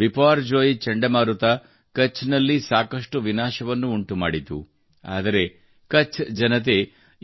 ಬಿಪಾರ್ಜೋಯ್ ಚಂಡಮಾರುತ ಕಛ್ನಲ್ಲಿ ಸಾಕಷ್ಟು ವಿನಾಶವನ್ನು ಉಂಟುಮಾಡಿತು ಆದರೆ ಕಛ್ ಜನತೆ